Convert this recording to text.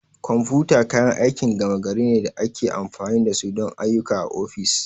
Kwamfuta kayan aikin gama gari ne da ake amfani da su don ayyuka a ofis.